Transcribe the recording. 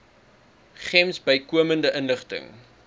gems bykomende inligting